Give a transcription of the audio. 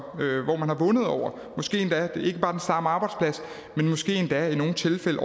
og hvor man har vundet måske endda ikke bare den samme arbejdsplads men måske endda i nogle tilfælde